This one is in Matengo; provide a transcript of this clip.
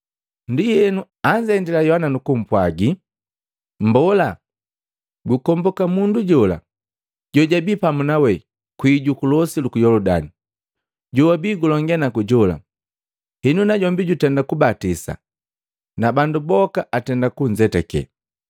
Ndienu anzendila Yohana nukumpwajila, “Mbola, gunkomboka mundu jola jojabii pamu nawe kwii juku losi luku Yoludani, jowabii gulonge naku jola, henu najombi jutenda kubatisa, na bandu boka atenda kunzende.”